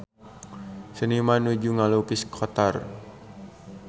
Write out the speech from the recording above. Seniman nuju ngalukis Qatar